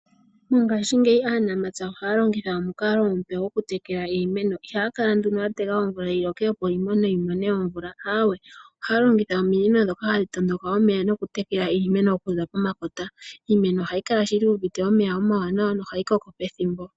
Mongaashingeyi aanamapya ohaya longitha omukalo omupe goku tekela iimeno ihaya kala yatega omvula yiloke opo iimeno yimone omvula ,aawe ohaya longitha ominino ndhoka hadhi matuka omeya nokutekela iimeno okuza pomakota iimeno ohayi kala shili yu uvite omeya oma waanawa nohayi koko pethimbo.